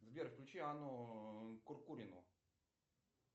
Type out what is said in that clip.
сбер включи анну куркурину